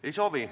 Ei soovi.